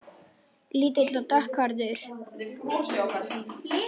Lítil og dökkhærð og ekki ósvipuð Regínu